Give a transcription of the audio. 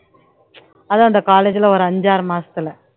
அதான் அந்த college ல ஒரு அஞ்சு ஆறு மாசத்துல